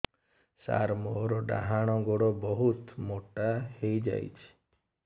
ସାର ମୋର ଡାହାଣ ଗୋଡୋ ବହୁତ ମୋଟା ହେଇଯାଇଛି